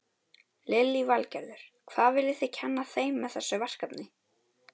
Lillý Valgerður: Hvað viljið þið kenna þeim með þessu verkefni?